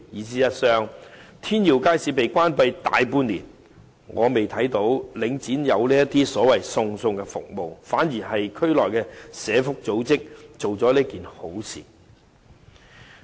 事實上，天耀邨街市已關閉大半年，我看不到領展有這些所謂送餸服務，反而是區內的社福組織做了這件好事。